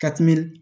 Ka tɛmɛ